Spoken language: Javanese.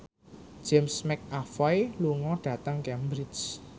James McAvoy lunga dhateng Cambridge